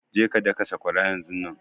Je ka daka sakwaran yanzunnan!